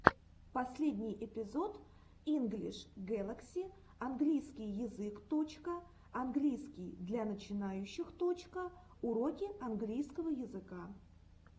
последний эпизод инглиш гэлакси английский язык точка английский для начинающих точка уроки английского языка